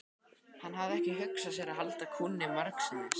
Hann hafði ekki hugsað sér að halda kúnni margsinnis.